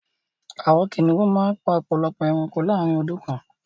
Àwọn kìnnìún màá n pa ọpọ̀lọpọ̀ èránkò láàrín ọdún kan